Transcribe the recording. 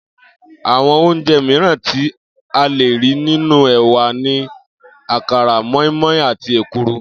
Àwo̩n oúnje̩ miíràn tí a lè rí nínú è̩wà ni àkàrà, mó̩ínmó̩in àti èkuru